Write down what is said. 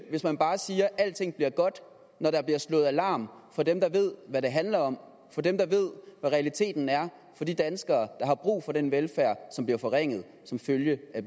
hvis man bare siger at alting er godt når der bliver slået alarm fra dem der ved hvad det handler om fra dem der ved hvad realiteten er for de danskere der har brug for den velfærd som bliver forringet som følge af